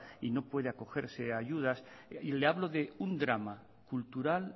y no puede acogerse a ayudas le hablo de un drama cultural